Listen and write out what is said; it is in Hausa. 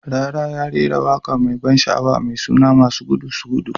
"Rarara ya rera waka mai ban sha'awa mai suna "masu gudu su gudu".